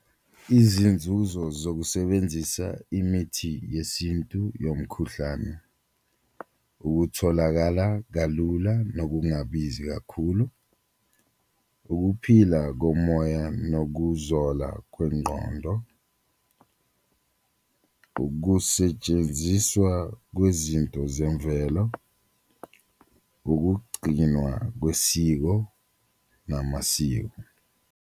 Izinzuzo zokusebenzisa imithi yesintu yomkhuhlane ukutholakala kalula nokungabizi kakhulu, ukuphila komoya nokuzola komnqondo, ukusetshenziswa kwezinto zemvelo, ukugcinwa kwesiko namasiko.